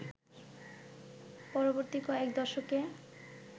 পরবর্তী কয়েক দশকে